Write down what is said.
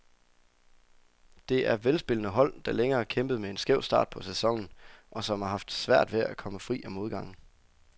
Det er velspillende hold, der længe har kæmpet med en skæv start på sæsonen, og som har haft svært ved at komme fri af modgangen.